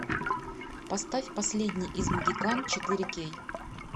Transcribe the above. поставь последний из могикан четыре кей